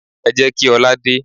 Ẹ jẹ́ kí ọ̀la dé.